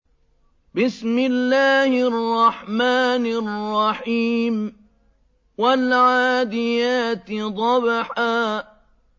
وَالْعَادِيَاتِ ضَبْحًا